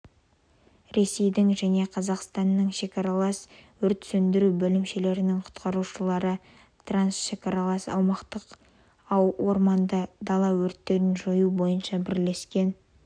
ресейдің және қазақстанның шекаралас өрт сөндіру бөлімшелерінің құтқарушылары трансшекаралас аумақтағы орманды дала өрттерін жою бойынша бірлескен